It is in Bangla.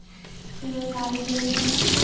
এবার গাল দেবো ফোনে